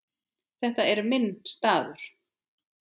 Þetta er minn staður.